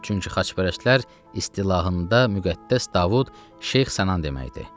Çünki xaçpərəstlər istilahında Müqəddəs Davud Şeyx Sənan deməkdir.